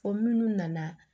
Fɔ minnu nana